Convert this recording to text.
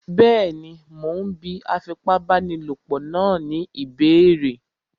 Bẹ́ẹ̀ni, mo ún bí afipábanílòpọ̀ náà ní ìbéèrè